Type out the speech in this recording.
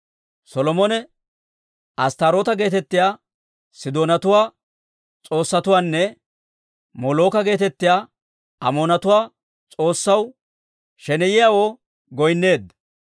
Solomone Asttaaroota geetettiyaa Sidoonatuwaa s'oossatiwunne Molooka geetettiyaa Amoonatuwaa s'oossaw, sheneyiyaawoo goynneedda.